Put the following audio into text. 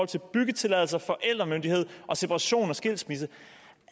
til byggetilladelser forældremyndighed separation og skilsmisse